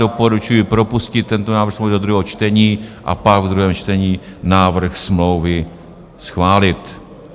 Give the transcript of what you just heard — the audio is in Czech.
Doporučuji propustit tento návrh smlouvy do druhého čtení a pak ve druhém čtení návrh smlouvy schválit.